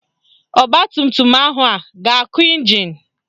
Ọgbatumtum ahụ a ga-akụ ịnjin?